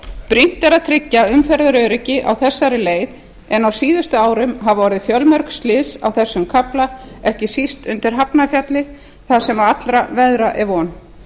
brýnt er að tryggja umferðaröryggi á þessari leið en á síðustu árum hafa orðið fjölmörg slys á þessum kafla ekki síst undir hafnarfjalli þar sem allra veðra er von